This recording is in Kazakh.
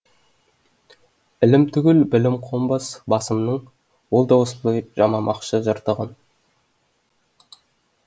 ілім түгіл білім қонбас басымның ол да осылай жамамақшы жыртығын